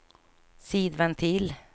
sidventil